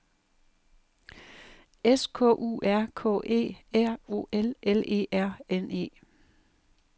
S K U R K E R O L L E R N E